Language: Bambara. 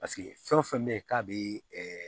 Paseke fɛn o fɛn bɛ yen k'a bɛ